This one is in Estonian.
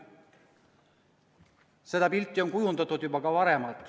Seda pilti on kujundatud juba ka varem.